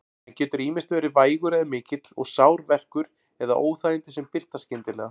Hann getur ýmist verið vægur eða mikill og sár verkur eða óþægindi sem birtast skyndilega.